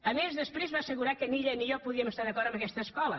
a més després va assegurar que ni ella ni jo podíem estar d’acord amb aquesta escola